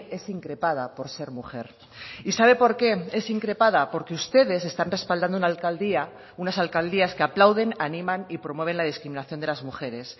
es increpada por ser mujer y sabe porque es increpada porque ustedes están respaldando una alcaldía unas alcaldías que aplauden animan y promueven la discriminación de las mujeres